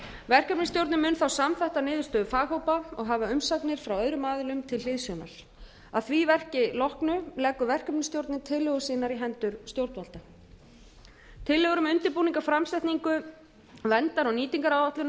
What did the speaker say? verkefnisstjórnin mun þá samþætta niðurstöðu faghópa og hafa umsagnir frá öðrum aðilum til hliðsjónar að því verki loknu leggur verkefnisstjórnin tillögur sínar í hendur stjórnvalda tillögur um undirbúning framsetningu verndar og nýtingaráætlunar